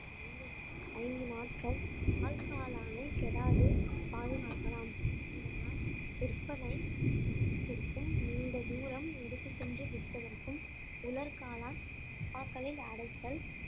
ஐந்து நாட்கள் பால்காளானை கெடாது பாதுகாக்கலாம் இதனால் விற்பனை சேமிப்பிற்கும் நீண்ட தூரம் எடுத்துச் சென்று விற்பதற்கும் உலர் காளான் டப்பாக்களில் அடைத்தல்